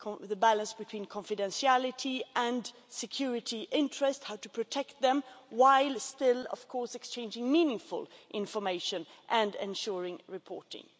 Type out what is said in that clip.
the balance between confidentiality and security interests and how to protect them, while still exchanging meaningful information and ensuring reporting.